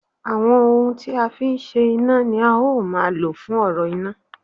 Àwọn ohun tí a fi ń ṣe iná ni a ó máa lò fún ọ̀rọ̀ iná